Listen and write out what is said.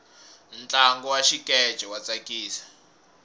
ntlangu wa xikeche wa tsakisa